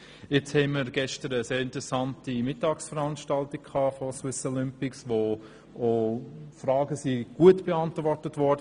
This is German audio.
Nun hatten wir gestern eine sehr interessante Mittagsveranstaltung, wo Swiss Olympic das Konzept vorgestellt und Fragen gut beantwortet hat.